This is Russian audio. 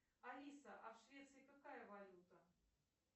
алиса а в швеции какая валюта